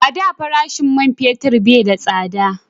A da farashin man fetir bai da tsada